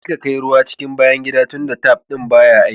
Kaji ka kai ruwa cikin bayan gida dunta tap ɗin yana aiki.